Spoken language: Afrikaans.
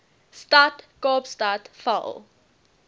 stad kaapstad val